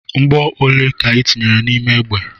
Mgbọ ole ka ị tinyere n'ime egbe?